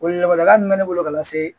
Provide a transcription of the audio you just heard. Weleweleda min bɛ ne bolo ka lase